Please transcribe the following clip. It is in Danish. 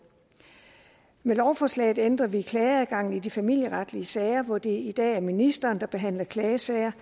med lovforslaget ændrer vi klageadgangen i de familieretlige sager hvor det i dag er ministeren der behandler klagesager